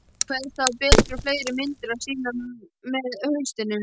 Kveðst hafa betri og fleiri myndir að sýna með haustinu.